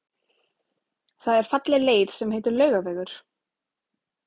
Það er falleg leið sem heitir Laugavegur.